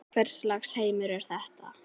Hvers lags heimur er þetta?